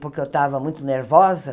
porque eu estava muito nervosa.